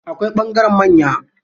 Akwai ɓangaren manya.